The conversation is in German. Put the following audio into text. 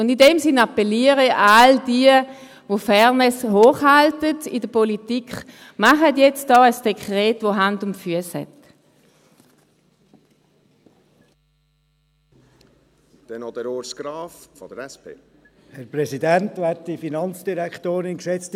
Und in diesem Sinn appelliere ich an all jene, die Fairness in der Politik hochhalten: Machen Sie jetzt ein Dekret, das Hand und Fuss hat.